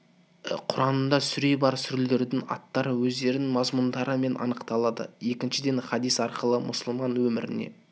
құранында сүре бар сүрелердің аттары өздерінің мазмұндарымен анықталады екіншіден хадис арқылы мұсылман өміріне